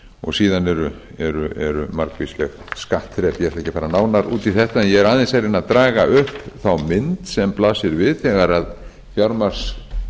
og síðan eru margvísleg skattþrep ég ætla ekki að fara nánar út þetta en ég er aðeins að reyna að draga upp þá mynd sem blasir við þegar